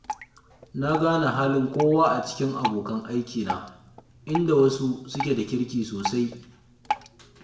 Na gane halin kowa a cikin abokan aikina, inda wasu suke da kirki sosai